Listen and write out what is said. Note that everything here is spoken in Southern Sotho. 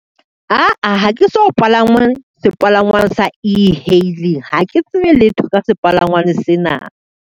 Aa ha ke so palangwang sepalangwang sa e-hailing, ha ke tsebe letho ka sepalangwane sena.